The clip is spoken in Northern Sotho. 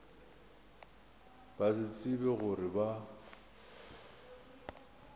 ba se tsebe gore ba